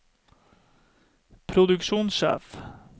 produksjonssjef